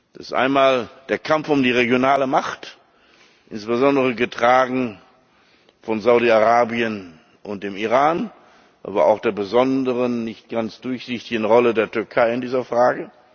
Da ist einmal der Kampf um die regionale Macht, insbesondere getragen von Saudi Arabien und dem Iran, aber auch von der besonderen, nicht ganz durchsichtigen Rolle der Türkei in dieser Frage.